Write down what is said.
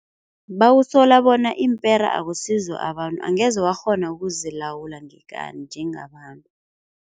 Bawusola bona iimpera akusizo abantu angeze wakghona ukuzilawula ngekani njengabantu.